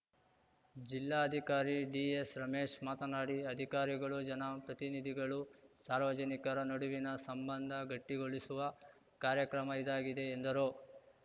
ಜಿಲ್ಲಾಧಿಕಾರಿ ಡಿಎಸ್‌ರಮೇಶ್‌ ಮಾತನಾಡಿ ಅಧಿಕಾರಿಗಳು ಜನ ಪ್ರತಿನಿಧಿಗಳು ಸಾರ್ವಜನಿಕರ ನಡುವಿನ ಸಂಬಂಧ ಗಟ್ಟಿಗೊಳಿಸುವ ಕಾರ್ಯಕ್ರಮ ಇದಾಗಿದೆ ಎಂದರು